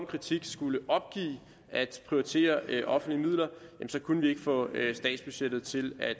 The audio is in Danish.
kritik skulle opgive at prioritere offentlige midler så kunne vi ikke få statsbudgettet til at